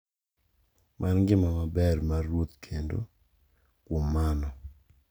mar ngima maber mar ruoth kendo, kuom mano,